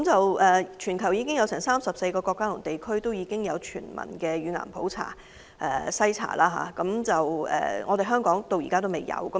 現時，全球已有34個國家及地區提供全民乳癌篩查，但香港至今仍未做到。